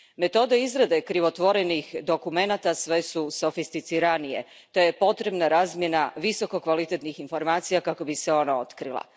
Metode izrade krivotvorenih dokumenata sve su sofisticiranije te je potrebna razmjena visokokvalitetnih informacija kako bi se ona otkrila.